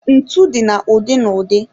Ntu dị na ụdị na ụdị.